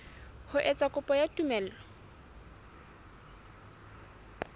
ho etsa kopo ya tumello